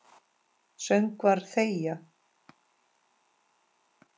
Söngvar þegja.